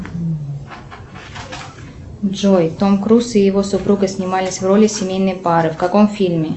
джой том круз и его супруга снимались в роли семейной пары в каком фильме